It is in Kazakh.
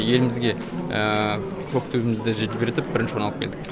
елімізге көк туымызды желбіретіп бірінші орын алып келдік